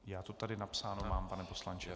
Já to tady napsáno mám, pane poslanče.